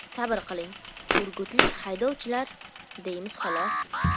Sabr qiling, urgutlik haydovchilar, deymiz xolos.